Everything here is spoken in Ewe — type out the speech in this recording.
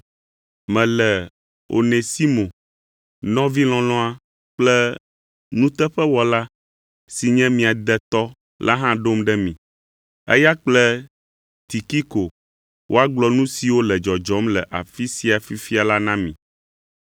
Mele Onesimo, nɔvi lɔlɔ̃a kple nuteƒewɔla si nye mia detɔ la hã ɖom ɖe mi. Eya kple Tikiko woagblɔ nu siwo le dzɔdzɔm le afi sia fifia la na mi.